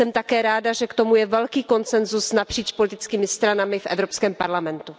Jsem také ráda, že k tomu je velký konsensus napříč politickými stranami v Evropském parlamentu.